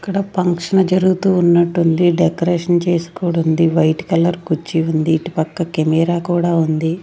ఇక్కడ ఫంక్షన్ జరుగుతూ ఉన్నట్టుంది డెకరేషన్ చేసి కూడుంది వైట్ కలర్ కుర్చీ ఉంది ఇటుపక్క కెమెరా కూడా ఉంది.